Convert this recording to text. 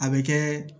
A bɛ kɛ